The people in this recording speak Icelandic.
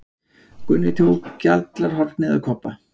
Gunni tók gjallarhornið af Kobba.